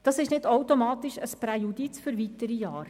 Das ist nicht automatisch ein Präjudiz für weitere Jahre.